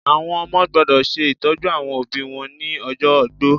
Àwọn ọmọ gbọ́dọ̀ se ìtọ́jú àwọn òbí wọn ni ojó ogbó